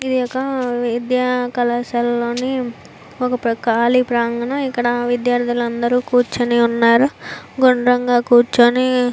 ఇది ఒక్కా విద్యా కళాశాలలోని ఒక ప్రా ఖాళీ ప్రాంగణం. ఇక్కడ విద్యార్థులు అందరూ కూర్చొని ఉన్నారు. గుండ్రంగా కూర్చుని --